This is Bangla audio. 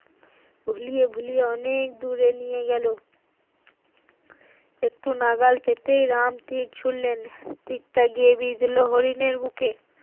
ভুলিয়ে ভুলিয়ে অনেক দূরে নিয়ে গেল একটু নাগাল পেতে রাম তীর ছুড়লেন তীর তা বিধলো হরিনের বুকে